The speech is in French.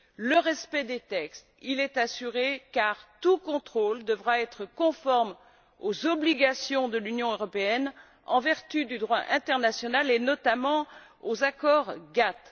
Le respect des textes est assuré, car tout contrôle devra être conforme aux obligations de l'Union européenne en vertu du droit international, et notamment aux accords GATT.